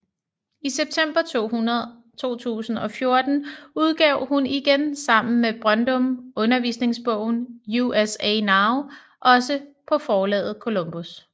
I september 2014 udgav hun igen sammen med Brøndum undervisningsbogen USA Now også på forlaget Columbus